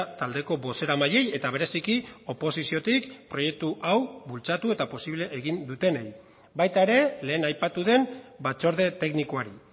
taldeko bozeramaileei eta bereziki oposiziotik proiektu hau bultzatu eta posible egin dutenei baita ere lehen aipatu den batzorde teknikoari